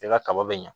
I ka kaba be ɲa